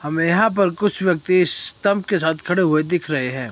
हमें यहां पर कुछ व्यक्ति स्तंभ के साथ खड़े हुए दिख रहे हैं।